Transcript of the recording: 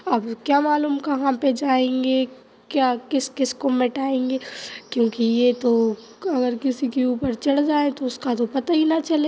अब क्या मालूम कहाँ पे जायेंगे क्या किस-किस को मिटायेंगे क्योंकि ये तो अगर किसी के ऊपर चढ़ जाए तो उसको तो पता ही ना चले।